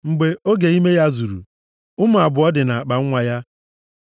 Mgbe oge ime ya zuru, ụmụ abụọ dị nʼakpanwa ya.